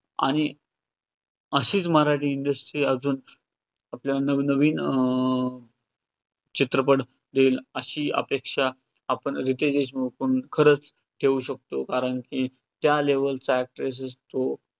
अशीच मराठी industry अजून आपल्याला नव-नवीन अं चित्रपट देईल अशी अपेक्षा आपण रितेश देशमुखकडून खरंच ठेवू शकतो. कारण की त्या level चा actor तो